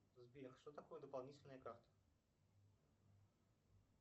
сбер что такое дополнительная карта